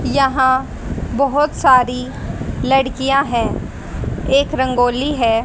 यहां बहोत सारी लड़कियां है एक रंगोली है।